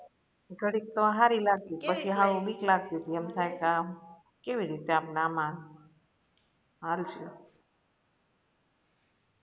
ઘડીક તો હારી લાગતી પછી હાવ બીક લગતી તી એમ થાય કે આમ કેવી રીતે એમના મા હાલસુ